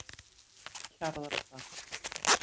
Hjarðardal